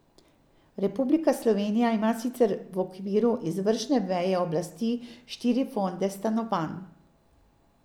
Republika Slovenija ima sicer v okviru izvršne veje oblasti štiri fonde stanovanj.